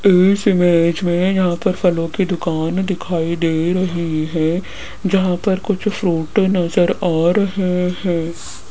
इस इमेज में यहां पर फलों की दुकान दिखाई दे रही है जहां पर कुछ फ्रूटे नज़र आ रहे हैं।